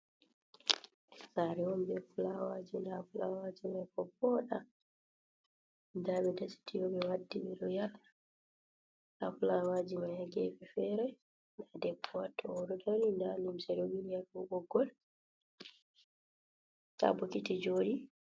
Saare on, be fulawaaji ,ndaa fulawaaji may booɗan. Ndaa ɓe dasi tiyo ,ɓe waddi ɓe ɗo yaara haa fulawaaji may, a geefe fere ndaa debbo o ɗo dari dalim ɓoggol haa bokiti joɗi.